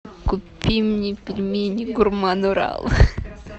купи мне пельмени гурман урал